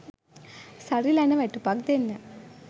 සරිලන වැටුපක් දෙන්න.